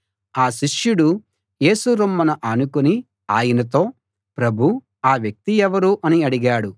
ఆ శిష్యుడు యేసు రొమ్మున ఆనుకుని ఆయనతో ప్రభూ ఆ వ్యక్తి ఎవరు అని అడిగాడు